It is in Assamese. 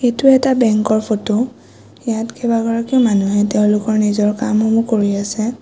এইটো এটা বেংকৰ ফটো ইয়াত কেইবাগৰাকীও মানুহে তেওঁলোকৰ নিজৰ কাম সমূহ কৰি আছে।